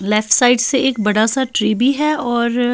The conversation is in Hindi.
लेफ्ट साइड से एक बड़ा सा टी_ वी_ है और--